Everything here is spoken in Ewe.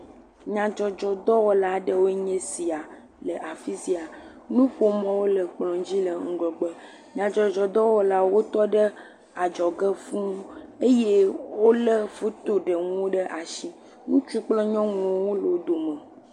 Nyadzɔdzɔdɔwɔla ɖewoe nye esia le afi sia. Nuƒomɔ̃wo le kplɔ̃dzi le ŋgɔgbe. Nyadzɔdzɔdɔwɔlawo tɔ ɖe adzɔge fũuu eye wolé fotoɖeŋuwo ɖe ashi. Ŋutsuwo kple nyɔnuwo hã le wo dome.